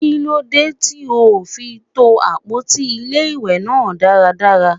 Kí ló dé tí ò ò fi to àpótí ilé-ìwé náà dáradára?